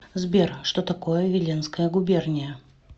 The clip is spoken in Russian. сбер что такое виленская губерния